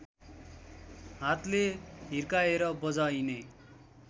हातले हिर्काएर बजाइने